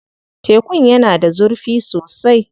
Tekun yana da zurfi sosai.